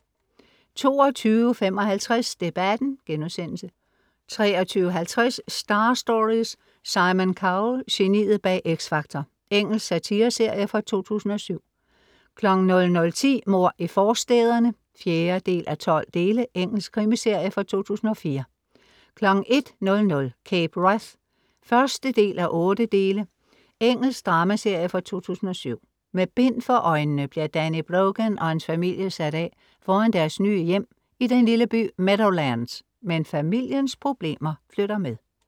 22:55 Debatten* 23:50 Star Stories: Simon Cowell, geniet bag X Factor. Engelsk satireserie fra 2007 00:10 Mord i forstæderne (4:12) Engelsk krimiserie fra 2004 01:00 Cape Wrath (1:8) Engelsk dramaserie fra 2007 Med bind for øjnene bliver Danny Brogan og hans familie sat af foran deres nye hjem i den lille by Meadowlands. Men familiens problemer flytter med